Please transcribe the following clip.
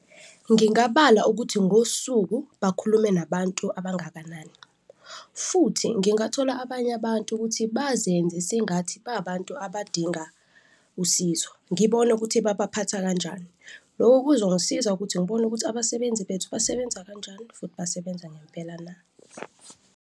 Ngingabala ukuthi ngosuku bakhulume nabantu abangakanani futhi ngingathola abanye abantu ukuthi bazenze sengathi ba abantu abadinga usizo, ngibone ukuthi babaphatha kanjani. Loko kuzongisiza ukuthi ngibone ukuthi abasebenzi bethu basebenza kanjani futhi basebenza ngempela na.